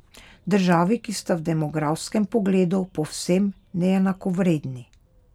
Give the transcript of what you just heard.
Državi, ki sta v demografskem pogledu povsem neenakovredni.